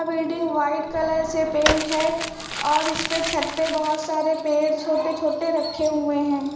Building white colour से paint है और इसमें छत पे बहुत सारे पेड़ छोटे छोटे रखे हुए हैं।